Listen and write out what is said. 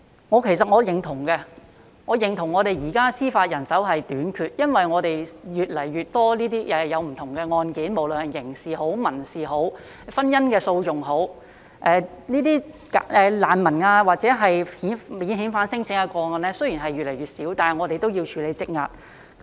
我其實認同我們現時司法人手短缺，因為我們有越來越多不同的案件，無論是刑事、民事或婚姻訴訟，雖然這些難民或免遣返聲請的個案越來越少，但我們也要處理積壓的案件。